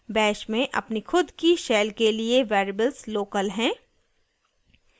bash में अपनी खुद की shell के लिए variables local हैं